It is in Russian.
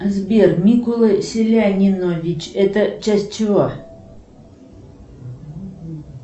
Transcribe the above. сбер микула селянинович это часть чего